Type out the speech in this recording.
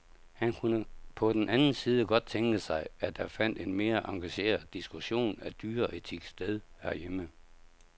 Han kunne på den anden side godt tænke sig, at der fandt en mere engageret diskussion af dyreetik sted herhjemme.